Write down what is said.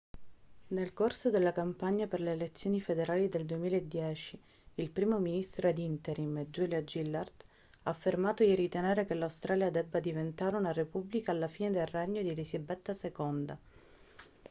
nel corso della campagna per le elezioni federali del 2010 il primo ministro ad interim julia gillard ha affermato di ritenere che l'australia debba diventare una repubblica alla fine del regno di elisabetta ii